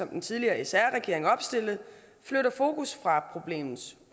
den tidligere sr regering opstillede flytter fokus fra problemets